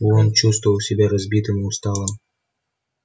он чувствовал себя разбитым и усталым